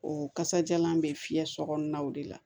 O kasajalan bɛ fiyɛ sokɔnɔnaw de la